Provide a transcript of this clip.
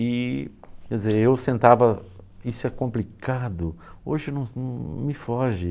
E, quer dizer, eu sentava, isso é complicado, hoje não não me foge.